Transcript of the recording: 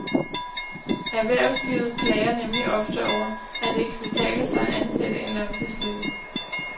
Erhvervslivet klager nemlig ofte over, at det ikke kan betale sig at ansætte en langtidsledig.